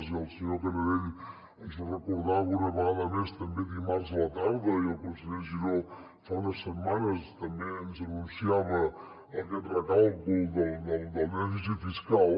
i el senyor canadell ens ho recordava una vegada més també dimarts a la tarda i el conseller giró fa unes setmanes també ens anunciava aquest recàlcul del dèficit fiscal